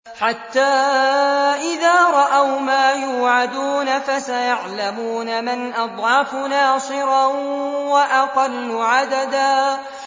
حَتَّىٰ إِذَا رَأَوْا مَا يُوعَدُونَ فَسَيَعْلَمُونَ مَنْ أَضْعَفُ نَاصِرًا وَأَقَلُّ عَدَدًا